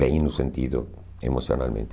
Bem no sentido emocionalmente.